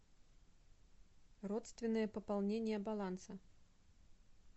родственное пополнение баланса